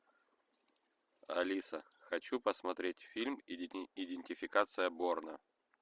алиса хочу посмотреть фильм идентификация борна